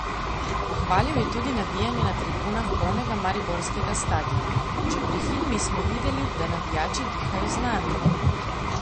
Pohvalil je tudi navijanje na tribunah polnega mariborskega stadiona: 'Že pri himni smo videli, da navijači dihajo z nami.